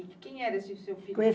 E quem era o seu filho?